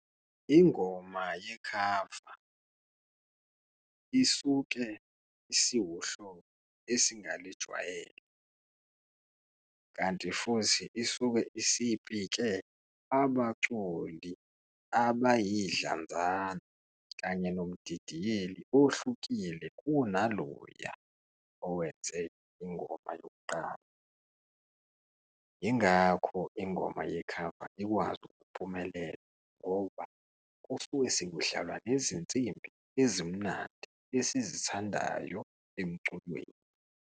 Ingoma yekhava isuke isiwuhlobo esingayijwayele kanti futhi isuke isipike abaculi abayidlanzana kanye nomdidiyeli ohlukile kunaloya owenze ingoma yokuqala. Yingakho ingoma yekhava ikwazi ukuphumelela ngoba kusuke sekudlalwa nezinsimbi ezimnandi esizithandayo emculweni.